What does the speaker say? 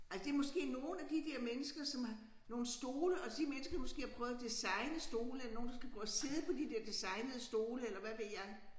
Altså det måske nogle af de dér mennesker som nogle stole og de mennesker måske har prøvet at designe stole nogen der skal gå og sidde på de der designede stole eller hvad ved jeg